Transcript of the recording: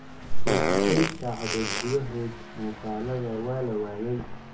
48 saacadood gudahood muuqaalada waa la waayay''